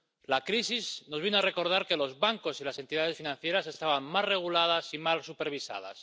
La crisis nos vino a recordar que los bancos y las entidades financieras estaban mal reguladas y mal supervisadas.